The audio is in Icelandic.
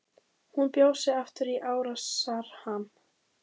Hún bjó sig aftur í árásarham.